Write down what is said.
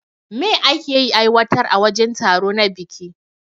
Me ake yi aiwatar a wajen taro na biki?